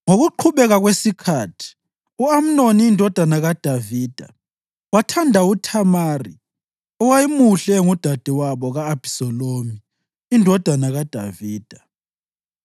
Ngokuqhubeka kwesikhathi, u-Amnoni indodana kaDavida wathanda uThamari, owayemuhle, engudadewabo ka-Abhisalomu indodana kaDavida.